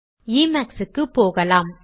Emax க்கு போகலாம்